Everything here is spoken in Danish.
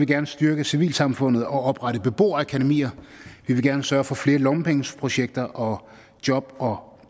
gerne styrke civilsamfundet og oprette beboerakademier vi vil gerne sørge for flere lommepengeprojekter og job og